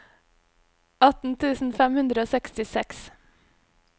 atten tusen fem hundre og sekstiseks